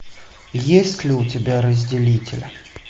есть ли у тебя разделитель